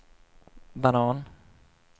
banan